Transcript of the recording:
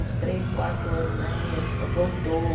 Uns três, quatro anos na época, voltou.